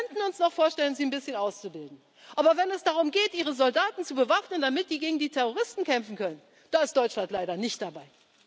geben. Wir könnten uns noch vorstellen, sie ein bisschen auszubilden, aber wenn es darum geht, Ihre Soldaten zu bewaffnen, damit die gegen die Terroristen kämpfen können, da ist Deutschland leider nicht